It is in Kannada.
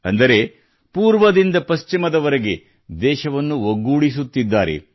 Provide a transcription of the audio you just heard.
ಅಂದರೆ ಪೂರ್ವದಿಂದ ಪಶ್ಚಿಮದವರೆಗೆ ದೇಶವನ್ನು ಒಗ್ಗೂಡಿಸುತ್ತಿದ್ದಾರೆ